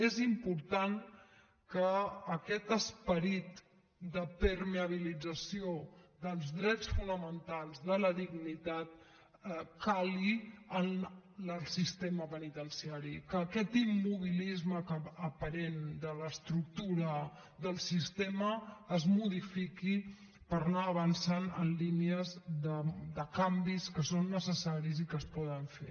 és important que aquest esperit de permeabilització dels drets fonamentals de la dignitat cali en el sistema penitenciari que aquest immobilisme aparent de l’estructura del sistema es modifiqui per anar avançant en línies de canvis que són necessaris i que es poden fer